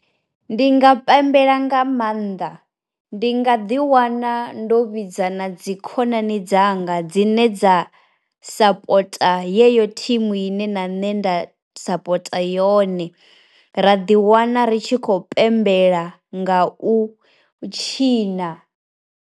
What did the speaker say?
Ndi nga pembela nga maanḓa, ndi nga ḓi wana ndo vhidza na dzi khonani dzanga dzi ne dza sapota yeyo thimu ine na nṋe nda sapota yone, ra ḓi wana ri tshi khou pembela nga u tshina.